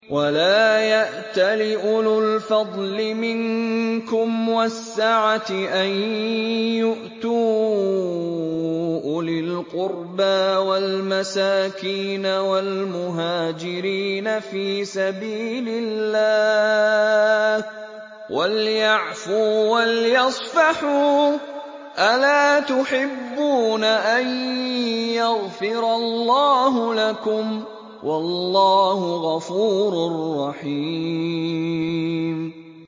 وَلَا يَأْتَلِ أُولُو الْفَضْلِ مِنكُمْ وَالسَّعَةِ أَن يُؤْتُوا أُولِي الْقُرْبَىٰ وَالْمَسَاكِينَ وَالْمُهَاجِرِينَ فِي سَبِيلِ اللَّهِ ۖ وَلْيَعْفُوا وَلْيَصْفَحُوا ۗ أَلَا تُحِبُّونَ أَن يَغْفِرَ اللَّهُ لَكُمْ ۗ وَاللَّهُ غَفُورٌ رَّحِيمٌ